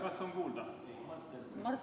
Kas on kuulda?